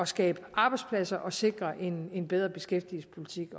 skabe arbejdspladser og sikre en en bedre beskæftigelsespolitik